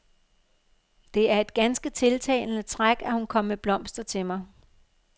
Det er et ganske tiltalende træk, at hun kom med blomster til mig.